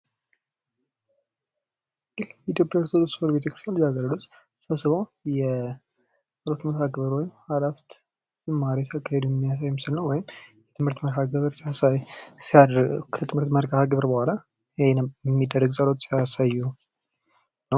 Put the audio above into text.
የኢትዮጵያ ኦርቶዶክስ ተዋሕዶ ቤተክርስቲያን ተሰብስበው ጸሎት መርሀግብር እያካሄዱ ዝማሬ እየዘመሩ የሚያሳይ ምስል ነው። ወይም ከትምህርት መርሐ ግብር በኋላ የሚደረግ ጸሎት ነው።